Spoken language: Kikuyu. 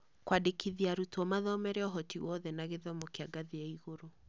Kwandĩkithia arutwo mathomere ũhoti wothe na gĩthomo kĩa ngathĩ ya igũrũ.